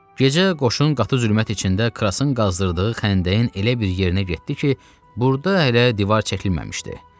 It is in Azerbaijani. Gecə qoşun qatı zülmət içində Krassın qazdırdığı xəndəyin elə bir yerinə getdi ki, burda hələ divar çəkilməmişdi.